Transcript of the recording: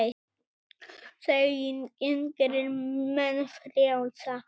þekkingin gerir menn frjálsa